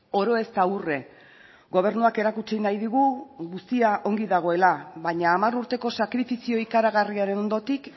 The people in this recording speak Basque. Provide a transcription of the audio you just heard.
oro ez da urre gobernuak erakutsi nahi digu guztia ongi dagoela baina hamar urteko sakrifizio ikaragarriaren ondotik